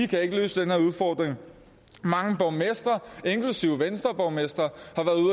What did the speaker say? kan løse den her udfordring mange borgmestre inklusive venstreborgmestre